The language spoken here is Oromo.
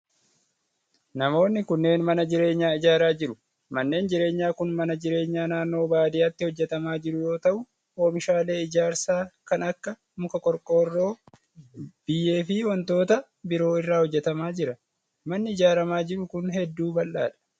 Namoonni kunneen mana jireenyaa ijaaraa jiru. Manni jireenyaa kun mana jreenyaa naannoo baadiyaatti hojjatamaa jiru yoo ta'u, oomishaalee ijaarsaa kan akka:muka, qorqoorroo, biyyee fi wantoota biroo irraa hojjatamaa jira. Manni ijaaramaa jiru kun, hedduu bal'aa dha.